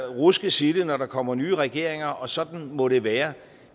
ruskes i det når der kommer nye regeringer og sådan må det være